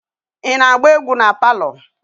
Ị na-agba egwu palọ?